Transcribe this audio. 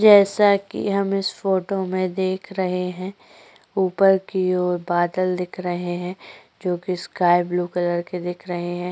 जैसा कि हम इस फोटो में देख रहे हैं ऊपर की ओर बादल दिख रहे हैं जो कि स्काई ब्लू कलर के दिख रहे हैं।